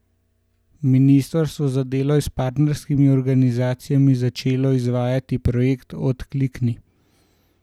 Ministrstvo za delo je s partnerskimi organizacijami začelo izvajati projekt Odklikni!